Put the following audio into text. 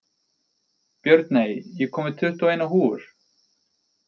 Björney, ég kom með tuttugu og eina húfur!